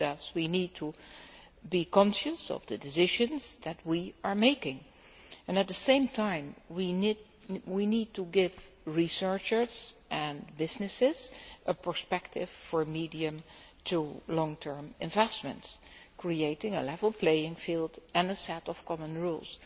We need to be conscious of the decisions that we are making and at the same time we need to give researchers and businesses a perspective for medium to long term investments, creating a level playing field and a set of common rules.